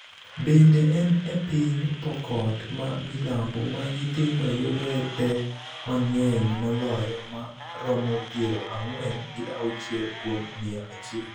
Bende, en e piny Pokot ma milambo ma nyithindo yudoe pek mang�eny moloyo ma romo piero ang'wen gi auchiel kuom mia achiel,